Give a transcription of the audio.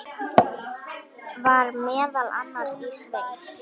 Var meðal annars í sveit.